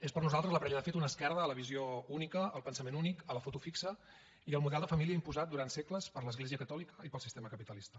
és per nosaltres la parella de fet una esquerda a la visió única al pensament únic a la foto fixa i al model de família imposat durant segles per l’església catòlica i pel sistema capitalista